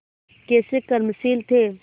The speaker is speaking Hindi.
कैसे कर्मशील थे